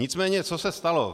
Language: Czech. Nicméně co se stalo.